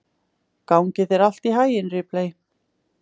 Gangi þér allt í haginn, Ripley.